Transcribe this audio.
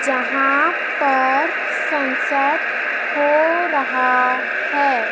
यहां पर सनसेट हो रहा है।